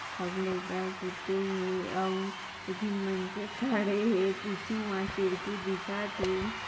सामने एका आऊ खड़े है पिछूमा खिड़की दिखत है।